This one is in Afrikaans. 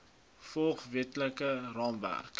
volg wetlike raamwerk